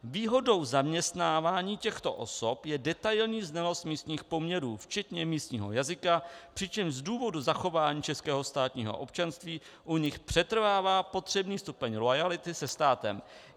Výhodou zaměstnávání těchto osob je detailní znalost místních poměrů, včetně místního jazyka, přičemž z důvodu zachování českého státního občanství u nich přetrvává potřebný stupeň loajality se státem.